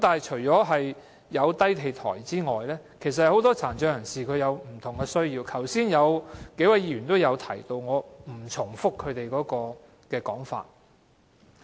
除低地台外，很多殘疾人士亦有不同的需要，剛才數位議員也有所提及，我不再重複。